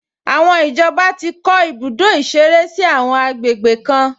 Àwọn ìjọba ti kọ́ ibùdó ìṣeré sí àwọn àgbègbè kan